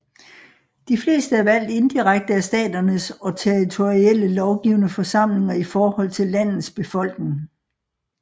De fleste er valgt indirekte af staternes og territorielle lovgivende forsamlinger i forhold til landets befolkning